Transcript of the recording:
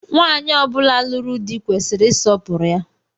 Nwaanyi ọ bula lụrụ di kwesịrị isọpuru ya.